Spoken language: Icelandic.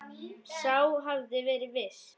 Sá hafði verið viss!